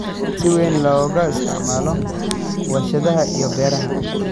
si weyn looga isticmaalo warshadaha iyo beeraha.